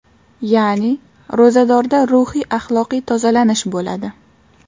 Ya’ni, ro‘zadorda ruhiy axloqiy tozalanish bo‘ladi.